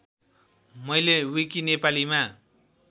मैले विकि नेपालीमा